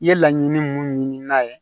I ye laɲini mun ɲini n'a ye